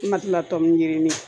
N ma kila tɔmɔ ye yirinin